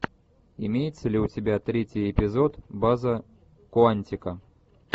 имеется ли у тебя третий эпизод база куантико